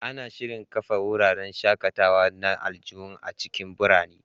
Ana shirin kafa wuraren shaƙatawa na aljihu a cikin birane.